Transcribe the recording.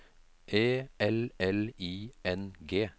E L L I N G